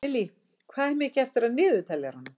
Millý, hvað er mikið eftir af niðurteljaranum?